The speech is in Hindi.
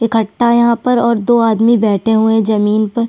इकट्ठा यहाँ पर और दो आदमी बैठे हुए है जमींन पर--